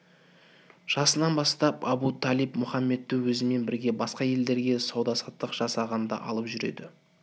жасынан бастап абу-талиб мұхаммедті өзімен бірге басқа елдерге сауда-саттық жасағанда алып жүреді